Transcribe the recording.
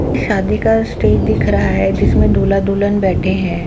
शादी का स्टेज दिख रहा है जिसमे दूल्हा-दुल्हन बेठे है।